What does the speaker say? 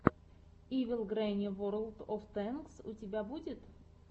ивил грэнни ворлд оф тэнкс у тебя будет